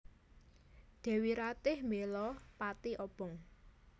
Dèwi Ratih bela pati obong